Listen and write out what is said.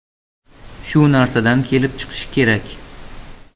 Shu narsadan kelib chiqish kerak.